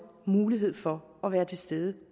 mulighed for at være til stede